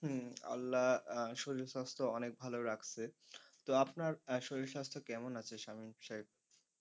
হম আল্লাহ আহ শরীর স্বাস্থ্য অনেক ভালো রাখছে। তো আপনার শরীর স্বাস্থ্য কেন আছে শামীম সাহেব?